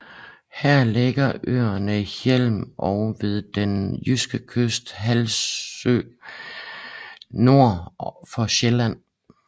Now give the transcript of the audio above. Her ligger også øerne Hjelm ved den jyske kyst og Hesselø nord for Sjælland